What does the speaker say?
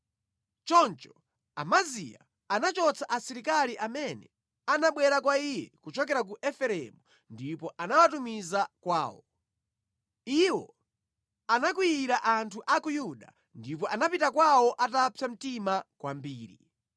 Choncho Amaziya anachotsa asilikali amene anabwera kwa iye kuchokera ku Efereimu ndipo anawatumiza kwawo. Iwo anakwiyira anthu a ku Yuda ndipo anapita kwawo atapsa mtima kwambiri.